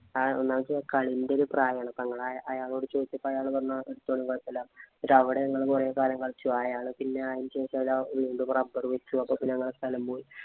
എന്ന് വച്ചാ കളീന്‍റെ ഒരു പ്രായാണ്. അപ്പൊ ഞങ്ങള് അയാളോട് ചോദിച്ചപ്പോ അയാള് പറഞ്ഞു ആഹ് എടുത്തോളിന്‍ കുഴപ്പമില്ലാന്ന്. പക്ഷേ അവിടെ ഞങ്ങള് കൊറേ കാലം കളിച്ചു. അയാള് പിന്നെ അതിനുശേഷം rubber വിച്ചു. അപ്പൊ ഞങ്ങടെ സ്ഥലം പോയി.